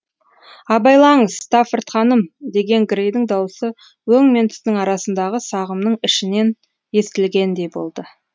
абайлаңыз стаффорд ханым деген грэйдің даусы өң мен түстің арасындағы сағымның ішінен естілгендей болды